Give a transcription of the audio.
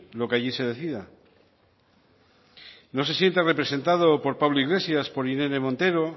lo que allí se decida no se siente representado por pablo iglesias por irene montero